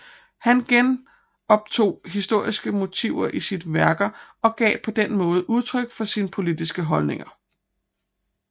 Han genoptog historiske motiver i sine værker og gav på den måde udtryk for sine politiske holdninger